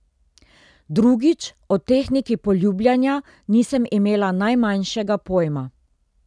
Drugič, o tehniki poljubljanja nisem imela najmanjšega pojma.